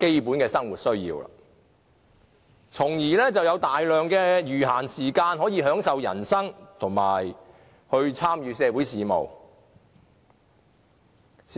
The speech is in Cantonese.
基本生活需要，從而可以騰出大量餘閒時間來享受人生，以及參與社會事務。